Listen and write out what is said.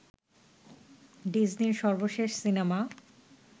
ডিজনির সর্বশেষ সিনেমা